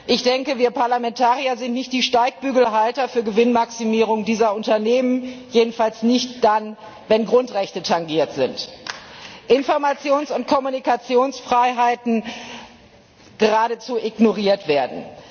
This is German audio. Ich denke, wir Parlamentarier sind nicht die Steigbügelhalter für Gewinnmaximierung dieser Unternehmen, jedenfalls nicht dann, wenn Grundrechte tangiert sind, Informations und Kommunikationsfreiheiten geradezu ignoriert werden.